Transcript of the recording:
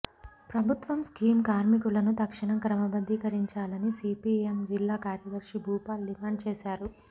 ప్రభుత్వం స్కీం కార్మికులను తక్షణం క్రమబద్దికరించాలని సిపిఎం జిల్లా కార్యదర్శి భూపాల్ డిమాండ్ చేశారు